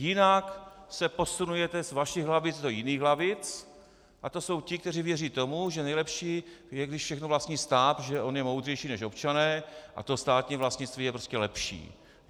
Jinak se posunujete z vašich lavic do jiných lavic a to jsou ti, kteří věří tomu, že nejlepší je, když všechno vlastní stát, že on je moudřejší než občané a to státní vlastnictví je prostě lepší.